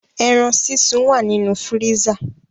Eran sisun wa ninu firisa